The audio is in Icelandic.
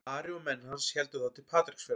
Ari og menn hans héldu þá til Patreksfjarðar.